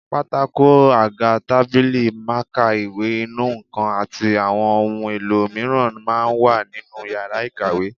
Pátákó, àga, tábìlì, mákà, ìwé, inú nǹkan àti àwọn ohun èlò mìíràn máa ń wà nínú yàrá ìkàwé